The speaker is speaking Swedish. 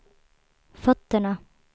fötterna